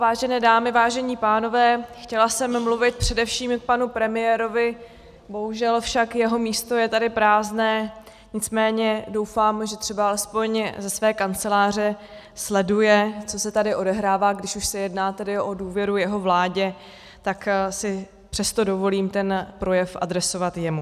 Vážené dámy, vážení pánové, chtěla jsem mluvit především k panu premiérovi, bohužel však jeho místo je tady prázdné, nicméně doufám, že třeba alespoň ze své kanceláře sleduje, co se tady odehrává, když už se jedná tedy o důvěru jeho vládě, tak si přesto dovolím ten projev adresovat jemu.